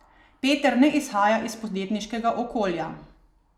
Peter ne izhaja iz podjetniškega okolja.